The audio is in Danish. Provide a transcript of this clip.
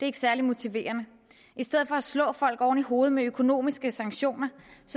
ikke særlig motiverende i stedet for at slå folk oven i hovedet med økonomiske sanktioner